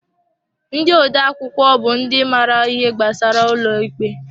Ndị odeakwụkwọ bụ ndị maara ihe gbasara ụlọ ikpe.